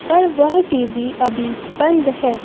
पर वह टी_वी अभी बंद है।